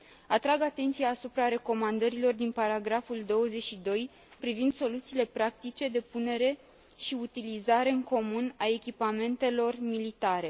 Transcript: Atrag atenția asupra recomandărilor din paragraful 22 privind soluțiile practice de punere și utilizare în comun a echipamentelor militare.